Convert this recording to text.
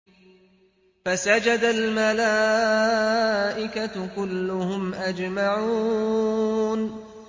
فَسَجَدَ الْمَلَائِكَةُ كُلُّهُمْ أَجْمَعُونَ